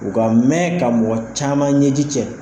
U ka mɛn ka mɔgɔ caman ɲɛji cɛ.